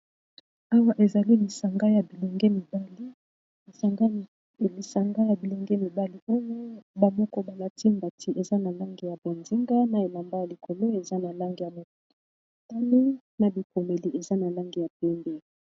Awa ezali lisanga ya bilenge mibali, oyo ba moko balati mbati eza na langi ya bonzinga na elamba ya likolo eza na langi ya motani na bikomeli eza na langi ya pembe.